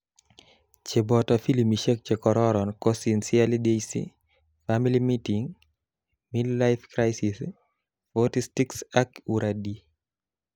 Cheboto filimishek chekororon ko Sincerely Daisy, Family meeting, Midlife Crisis, 40 Sticks ak Uradi.